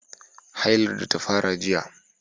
hailar da ta fara jiya